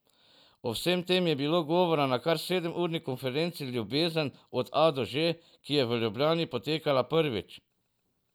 O vsem tem je bilo govora na kar sedemurni konferenci Ljubezen od A do Ž, ki je v Ljubljani potekala prvič.